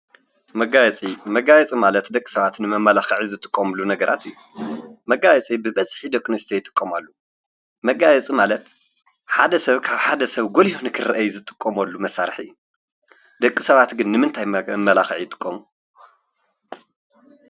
መጋየፂ መጋየፂ ማለት ደቂ ሰባት ንመመላክዒ ዝጥቀሙሉ ነገራት እዩ። መጋየፂ ብበዝሒ ደቂ ኣንስትዮ ይጥቀማሉ መጋየፅ ማለት ሓደ ሰብ ካብ ሓደ ሰብ ጎሊሁ ንክርእ ዝጠቅምሉ መሰርሒ እዩ ደቂ ሰባት ግን ንምንታይ መመላከዒ ይጥቀሙ?